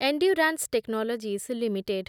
endurance Technologies limited